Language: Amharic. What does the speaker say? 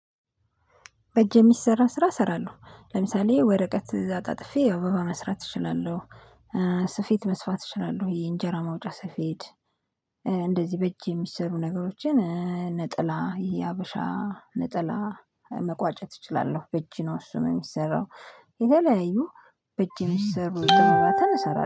በእጅ የሚሰራ ስራ እሰራለሁ ለምሳሌ ወረቀት እዛ አጣጥፌ አበባ መስራት እችላለሁ። ስፊት መስፋት እችላለሁ የእንጀራ መውጫ ስፌት እንደዚህ በእጄ የሚሰሩ ነገሮችን። ነጥላ የሀበሻ ነጠላ መቋጨት እችላለሁ በእጅ ነው እሱ የሚሰራው። የተለያዩ በእጅ የሚሰሩ ስራዎችን እሰራለሁ